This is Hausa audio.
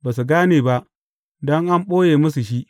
Ba su gane ba, don an ɓoye musu shi.